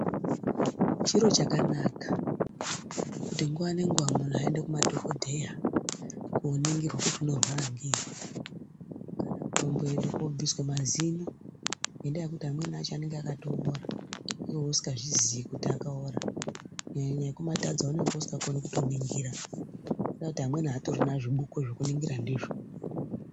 Chiro chakanaka kuti nguwa nenguwa munhu aende kumadhokodheya koningirwa kuti unorwara ngei. Komboenda koobviswa mazino ngendaa yekuti amweni acho anenge akatoora iwewe usingazvizii kuti akaora. Kunyanya ekumatadza aunenge usingatokoni kutoningira ngendaa yekuti amweni aatorina zvibuko zvekutoningira ndizvo.